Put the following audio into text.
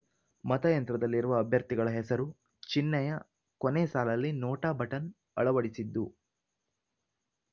ಮತಯಂತ್ರದಲ್ಲಿರುವ ಅಭ್ಯರ್ಥಿಗಳ ಹೆಸರು ಚಿಹ್ನೆಯ ಕೊನೆ ಸಾಲಲ್ಲಿ ನೋಟಾ ಬಟನ್‌ ಅಳವಡಿಸಿದ್ದು